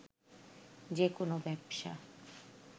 যে কোনো ব্যবসা